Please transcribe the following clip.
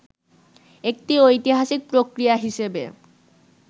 একটি ঐতিহাসিক প্রক্রিয়া হিসেবে